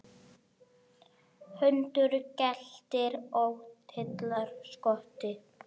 Hundur geltir og dillar skotti.